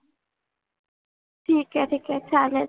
ठीक आहे ठीक आहे चालेल.